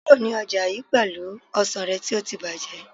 kúrò ní ọjà yii pelu ọsàn rẹ ti o ti bajẹ